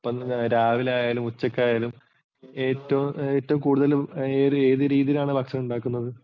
രാവിലെ ആയാലും ഉച്ചക്കായലും ഏറ്റവും കൂടുതൽ ഏതു രീതിയിലാണ് ഭക്ഷണം ഉണ്ടാക്കുന്നത്?